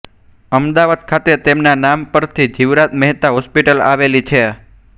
અમદાવાદ ખાતે તેમના નામ પરથી જીવરાજ મહેતા હોસ્પિટલ આવેલી છે